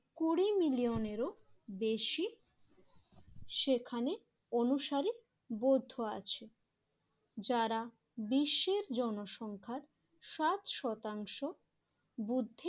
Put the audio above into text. কুড়ি মিলিয়নেরও বেশি সেখানে অনুসারে বৌদ্ধ আছে। যারা বিশ্বের জনসংখ্যার সাত শতাংশ বুদ্ধি